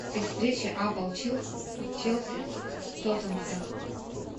встреча апл челси с тоттенхэмом